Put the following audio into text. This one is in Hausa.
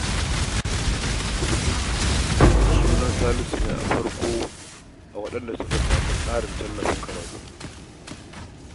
Sunan Salisu ne a farko a jerin waɗanda suka samu tallafin karatu